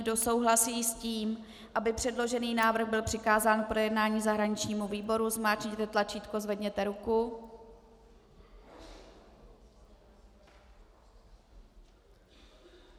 Kdo souhlasí s tím, aby předložený návrh byl přikázán k projednání zahraničnímu výboru, zmáčkněte tlačítko, zvedněte ruku.